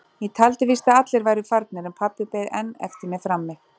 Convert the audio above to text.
Ég taldi víst að allir væru farnir en pabbi beið enn eftir mér frammi.